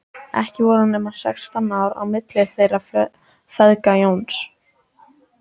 Ekki voru nema sextán ár á milli þeirra feðga, Jóns